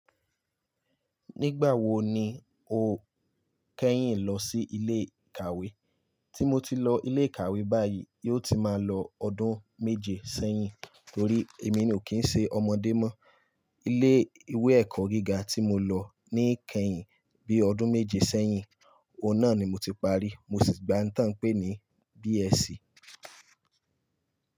Nígbà wo ni o kẹ́yìn lọ sí ilé ìkàwé? Tí mo ti lọ ilé ìkàwé báyìí, yóò ti máa lọ ọdún méje sẹ́yìn torí èmi ni ò kí n ṣe ọmọdé mọ́. Ilé ìwé ẹ̀kọ́ gíga tí mo lọ ní kẹ́yìn bí ọdún méje sẹ́yìn, òun náà ni mo ti parí. Mo sì gba nǹkan ta n pé ní BSC.